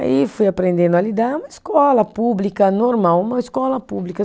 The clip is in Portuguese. Aí fui aprendendo a lidar, é uma escola pública normal, uma escola pública.